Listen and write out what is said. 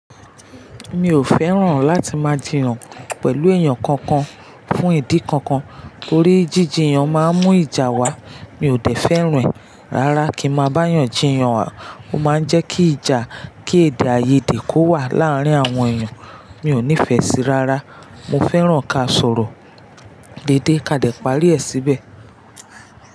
Mi ò fẹ́ràn láti máa jiyan pẹ̀lú èèyàn kankan fún ìdí kankan. Torí jíjiyan máa ń mú ìjà wá. Mi ò dè fẹ́ ran e Rárá kí ma bá ń eyàn jiyan, ó máa jẹ́ kí ìjà, kí èdè-áiyedè kó wà láàárín àwọn èèyàn. Mi ò nífẹ̀ẹ́ síi rárá. Mo fẹ́ràn ká sọ̀rọ̀ dédé ká dẹ̀ parí ẹ̀ síbẹ̀.